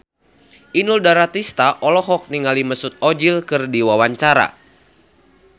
Inul Daratista olohok ningali Mesut Ozil keur diwawancara